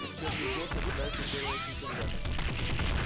учебный год начинается первого сентября